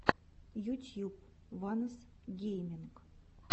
ютьюб ванос гейминг